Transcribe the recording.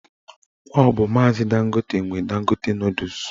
Ọ bụ maazi Dangote nwe Dangote nọdụs